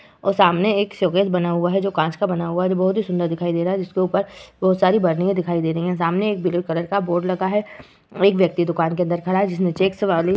और सामने एक शोकेस बना हुवा है जो कांच का बना हुआ है जो बहोत ही सुंदर दिखाई दे रहा है। जिसके ऊपर बहोत सारी बर्निया दिखाई दे रही हैं। सामने एक ब्लू कलर का बोर्ड लगा हुआ है। एक व्यक्ति दुकान के अंदर खड़ा है। जिसने चेक्स वाली --